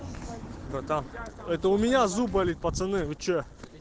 братан это у меня зуб болит пацаны вы что